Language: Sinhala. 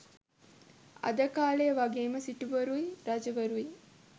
අද කාළේ වගෙම සිටුවරුයි රජවරුයි